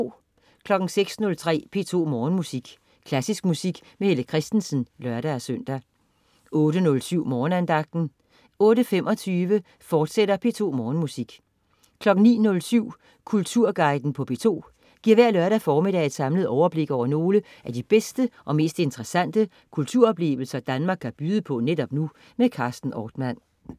06.03 P2 Morgenmusik. Klassisk musik med Helle Kristensen (lør-søn) 08.07 Morgenandagten 08.25 P2 Morgenmusik, fortsat 09.07 Kulturguiden på P2 giver hver lørdag formiddag et samlet overblik over nogle af de bedste og mest interessante kulturelle oplevelser Danmark kan byde på netop nu. Carsten Ortmann